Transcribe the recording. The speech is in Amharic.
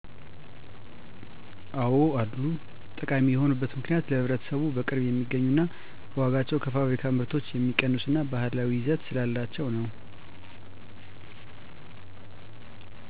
አዎ አሉ። ጠቃሚ የሆኑበት ምክንያት ለህብረተሰቡ በቅርብ የሚገኙ ና በዋጋቸውም ከፋብሪካ ምርቶች የሚቀንሱ እና ባህላዊ ይዘት ስላላቸው ነው።